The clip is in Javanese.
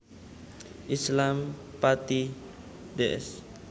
Islam Pati Ds